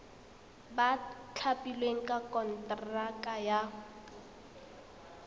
ba thapilweng ka konteraka ba